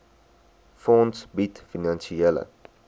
fonds bied finansiële